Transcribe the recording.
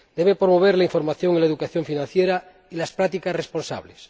Debe promover la información y la educación financieras y las prácticas responsables.